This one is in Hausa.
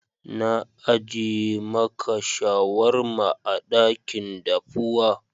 Na ajie maka shawarma a dakin dafuwa.